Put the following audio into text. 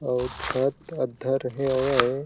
अउ छत अध्धर हेवे य--